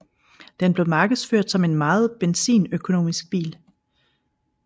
Den blev markedsført som en meget benzinøkonomisk bil